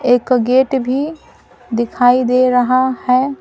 एक गेट भी दिखाई दे रहा है ।